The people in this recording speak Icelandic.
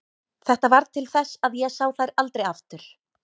Þetta varð til þess að ég sá þær aldrei aftur.